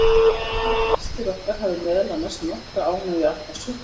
Við vonum að gestir okkar hafi meðal annars nokkra ánægju af þessu.